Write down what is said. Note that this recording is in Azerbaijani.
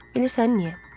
Bilirsən niyə?